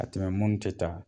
A tɛmɛ mun tɛ taa